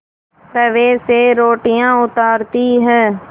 तवे से रोटियाँ उतारती हैं